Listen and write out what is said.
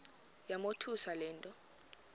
yamothusa le nto